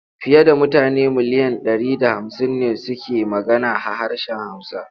Fiye da mutane miliyan ɗari da hamsin ne suke magana ha harshen Hausa.